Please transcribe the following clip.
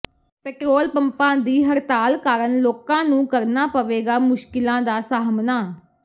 petrol ਪੰਪਾਂ ਦੀ ਹੜਤਾਲ ਕਾਰਨ ਲੋਕਾਂ ਨੂੰ ਕਰਨਾ ਪਵੇਗਾ ਮੁਸ਼ਕਿਲਾਂ ਦਾ ਸਾਹਮਣਾ